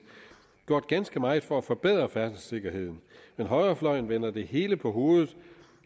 gjort ganske meget for at forbedre færdselssikkerheden men højrefløjen vender det hele på hovedet